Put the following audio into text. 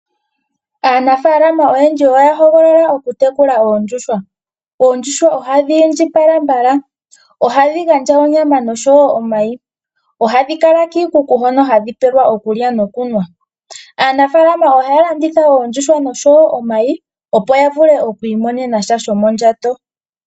Aanafalama oyendji oyahogolola okutekula oondjuhwa oshoka ohadhi indjipala mbala, ohadhi gandja onyama nomayi. Ohadhi kala kiikuku hono hadhi pelwa okulya nokunwa, aanafalama ohaye dhi landitha oshowo omayi opo yavule oku imonena sha shomondjato.